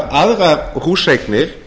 margar aðrar húseignir